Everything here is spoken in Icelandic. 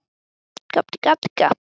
Hann var smiður og skar allt út í rósum.